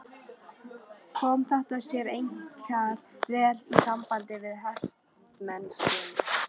Kom þetta sér einkar vel í sambandi við hestamennskuna.